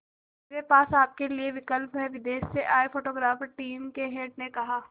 मेरे पास आपके लिए विकल्प है विदेश से आए फोटोग्राफर टीम के हेड ने कहा